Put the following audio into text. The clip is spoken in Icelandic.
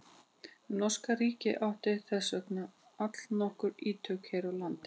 Norska ríkið átti þess vegna allnokkur ítök hér á landi.